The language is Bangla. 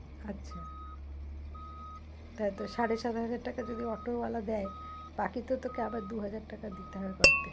আচ্ছা তাহলে তোর সাড়ে-সাত হাজার টাকা যদি অটোওয়ালা দেয় বাকি তো তোকে আবার দু-হাজার টাকা দিতে হবে পকেট থেকে,